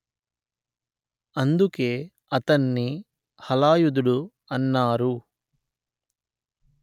అందుకే అతన్ని హలాయుదుడు అన్నారు